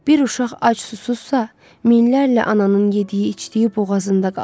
Bir uşaq ac-susuzsa, minlərlə ananın yediyi-içdiyi boğazında qalır.